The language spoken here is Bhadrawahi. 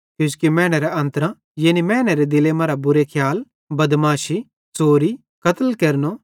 किजोकि मैनेरे अन्त्रेरां यानी मैनेरे दिले मरां बुरे खियाल बदमाशी च़ोरी कत्ल केरनो